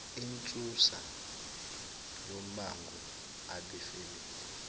insusa yombango abefamily